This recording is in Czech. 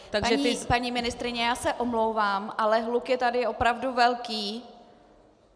Paní ministryně, já se omlouvám, ale hluk je tady opravdu velký.